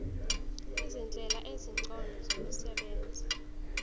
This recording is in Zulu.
izindlela ezingcono zokusebenza